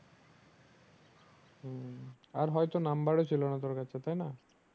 হম আর হয়তো number ও ছিল না তোর কাছে তাই না